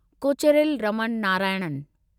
Kocheril Raman Narayanan